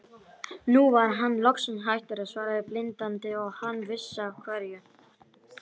Nú var hann loksins hættur að svara blindandi og hann vissi af hverju.